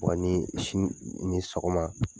O ni si min bɛ sogo la.